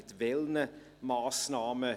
Mit welchen Massnahmen?